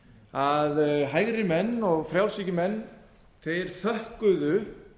að hægri menn og frjálshyggjumenn þeir þökkuðu